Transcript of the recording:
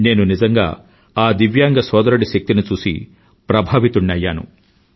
నేను నిజంగా ఆ దివ్యాంగ సోదరుడి శక్తిని చూసి ప్రభావితుడినయ్యాను